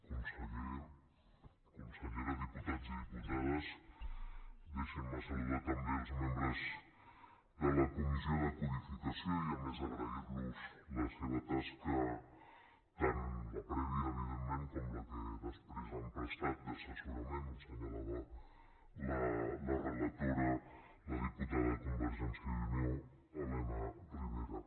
conseller consellera diputats i diputades deixin me saludar també els membres de la comissió de codificació i a més agrair los la seva tasca tant la prèvia evidentment com la que després han prestat d’assessorament ho assenyalava la relatora la diputada de convergència i unió elena ribera